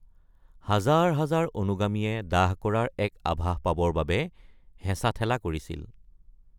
হাজাৰ হাজাৰ অনুগামীয়ে দাহ কৰাৰ এক আভাস পাবৰ বাবে হেঁচা-ঠেলা কৰিছিল।